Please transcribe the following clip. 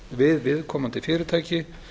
við viðkomandi fyrirtæki